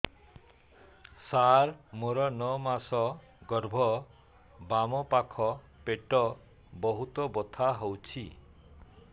ସାର ମୋର ନଅ ମାସ ଗର୍ଭ ବାମପାଖ ପେଟ ବହୁତ ବଥା ହଉଚି